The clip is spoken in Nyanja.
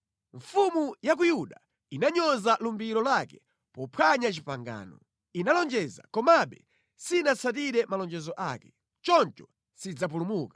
Mfumu ya ku Yuda inanyoza lumbiro lake pophwanya pangano. Inalonjeza komabe sinatsatire malonjezo ake. Choncho sidzapulumuka.